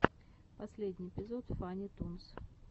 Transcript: последний эпизод фанни тунс